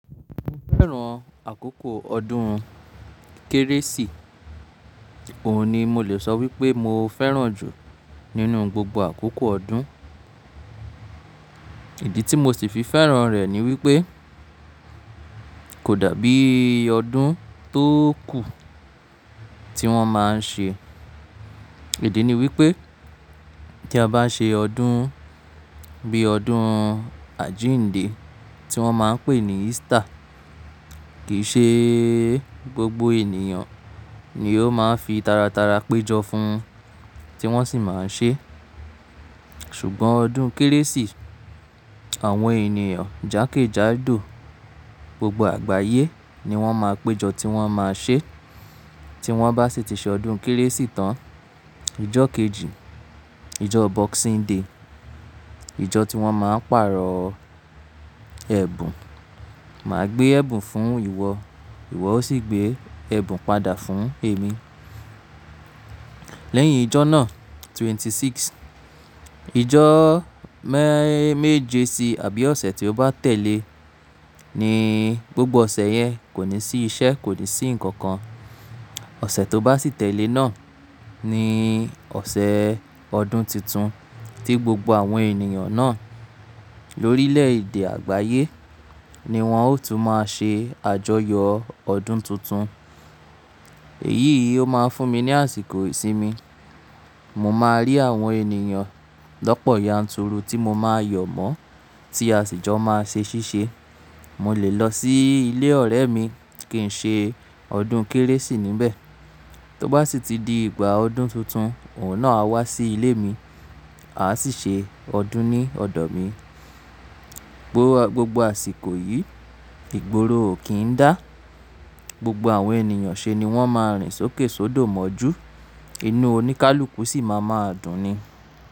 Mo fẹ́ràn àkókò ọdún kérésì, òun ni mo lè sọ wípé mo fẹ́ràn jù nínú gbogbo àkókò ọdún. Ìdí tí mo sì fi fẹ́ràn rẹ̀ ni wípé kò dàbí ọdún tó kù tí wón máa ń ṣe. Ìdí ni wípé tí a bá ṣe ọdún bí ọdún Àjíǹde tí wọ́n máa ń pè ní Easter kìí ṣe gbogbo ènìyàn ni ó máa ń fi tara tara péjọ fún un tí wọ́n sì máa ń ṣe. Ṣùgbọ́n ọdún kérésì àwọn ènìyàn jakejado gbogbo àgbáyé ni wọ́n máa péjọ tí wọ́n máa ṣe. Tí wọ́n bá sì ti ṣe ọdún kérésì tán, ìjọ kejì ìjọ Boxing Day ìjọ tí wọ́n máa ń pàrọ̀ ẹ̀bùn. Máa gbé ẹ̀bùn fún ìwọ, ìwọ o sì gbé ẹ̀bùn padà fún èmi. Lẹ́yìn ìjọ náà twenty six ìjọ me-méje sí àbí ọ̀sẹ̀ tí ó bá tẹ̀lé ní gbogbo ọ̀sẹ̀ yẹn kò ní sí iṣẹ́, kò ní sí nǹkan kan. Ọ̀sẹ̀ tó bá sì tẹ̀lé náà ni ọ̀sẹ̀ ọdún titun tí gbogbo àwọn ènìyàn náà lórílẹ̀ èdè àgbáyé ni wọ́n ó tún máa ṣe àjọyọ̀ ọdún tuntun. Èyí yìí ó máa fún mi ní àsìkò ìsinmi. Mo máa rí àwọn ènìyàn lọ́pọ̀ yanturu tí mo máa yọ̀ mọ́ tí a sì jọ máa ṣe ṣíṣe. Mo lè lọ sí ilé ọ̀rẹ́ mi kí n ṣe ọdún kérésì níbẹ̀. Tí ó bá sì ti di ìgbà ọdún tuntun òun náà á wá sí ilé mi a sì ṣe ọdún ní ọ̀dọ̀ mi. Gbogbo àsìkò yìí ìgboro ò kí ń dá gbogbo àwọn ènìyàn ṣe ni wọ́n máa rìn sókè sódò mọ́jú, inú oníkálukú sì máa ma dùn ni.